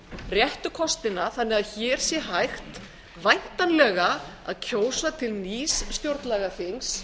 réttu kostina þannig að hér sé hægt væntanlega að kjósa til nýs stjórnlagaþings